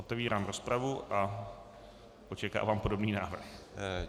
Otevírám rozpravu a očekávám podobný návrh.